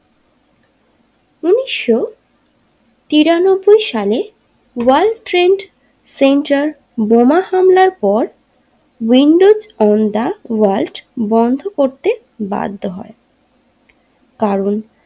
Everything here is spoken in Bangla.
উনিশশো তিরানব্বই সালে ওয়ার্ল্ড ট্রেড সেন্টার বোমা হামলার পর উইন্ডোজ ও দা ওয়ালজ বন্ধ করতে বাধ্য হয় কারণ।